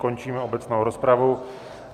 Končím obecnou rozpravu.